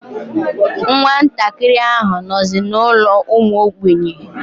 Nwa ntakịrị ahụ nọzi n'ụlọ ụmụ ogbenye.